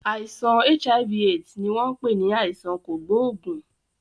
Àìsàn HIV/AIDS ni wọn pè ní àìsàn kògóògùn.